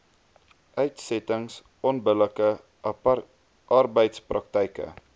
uitsettings onbillike arbeidspraktyke